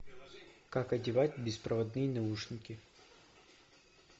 как одевать беспроводные наушники